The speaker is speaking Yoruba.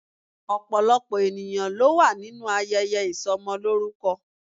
Opolopo eniyan lo wa ninu ayeye isomoloruko